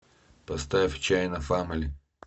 поставь чаяна фамали